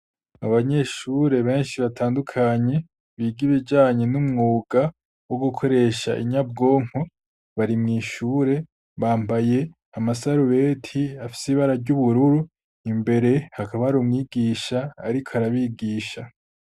Abanyeshure benshi batandukanye biga ibijanye n'umwuga wo gukoresha inyabwonko bari mu ishure bambaye amasarubeti afise ibara ry'ubururu, imbere hakaba arumwigisha ariko arabigisha.